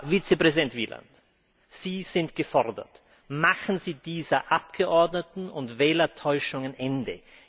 Herr Vizepräsident Wieland, Sie sind gefordert Machen Sie dieser Abgeordneten und Wählertäuschung ein Ende!